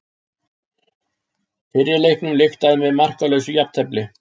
Fyrri leiknum lyktaði með markalausu jafntefli